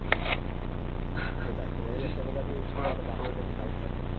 তোমাদেরকে একটু করে আমি Photo পাঠিয়ে দেবো কারণ দেখো